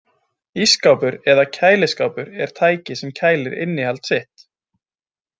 Ísskápur eða kæliskápur er tæki sem kælir innihald sitt.